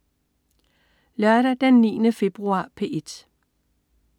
Lørdag den 9. februar - P1: